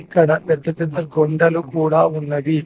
ఇక్కడ పెద్ద పెద్ద కొండలు కూడా ఉన్నవి.